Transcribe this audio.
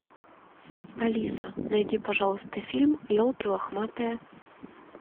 алиса найди пожалуйста фильм елки лохматые